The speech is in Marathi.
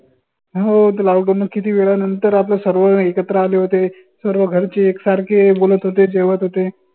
हो त lockdown न किती वेळा नंतर आपलं सर्व एकत्र आले होते. सर्व घरचे एक सारे बोलत होते जेवत होते.